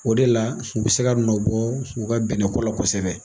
O de la u bi se ka nɔ bɔ u ka bɛnnɛko la kosɛbɛ.